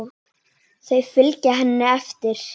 Þau fylgja henni eftir.